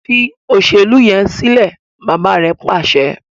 Fí Ṣe Olóṣèlú yén silẹ! bàbá rẹ pàṣẹ fún.